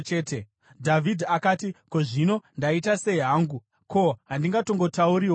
Dhavhidhi akati, “Ko, zvino ndaita sei hangu? Ko, handingatongotauriwo here?”